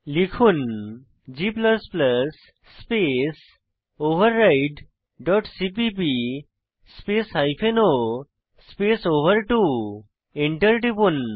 লিখুন g space override dot CPP space o space ওভার2 Enter টিপুন